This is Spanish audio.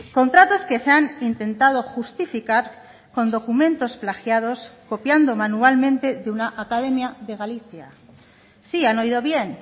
contratos que se han intentado justificar con documentos plagiados copiando manualmente de una academia de galicia sí han oído bien